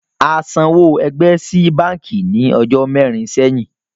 A san owó ẹgbẹ́ sí bánkì ní ọjọ́ mẹrin sẹ́yìn